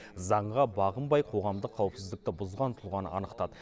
заңға бағынбай қоғамдық қауіпсіздікті бұзған тұлғаны анықтады